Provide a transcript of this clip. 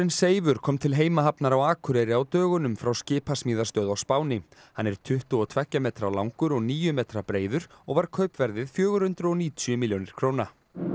Seifur kom til heimahafnar á Akureyri á dögunum frá skipasmíðastöð á Spáni hann er tuttugu og tveggja metra langur og níu metra breiður og var kaupverðið fjögur hundruð og níutíu milljónir króna